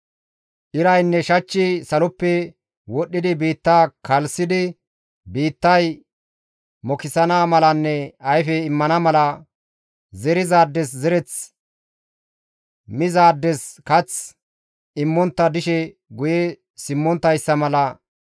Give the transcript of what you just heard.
Iraynne shachchi saloppe wodhdhidi biitta kalssidi, biittay mokisana malanne ayfe immana mala, zerizaades zereth, mizaades kath immontta dishe guye simmonttayssa mala,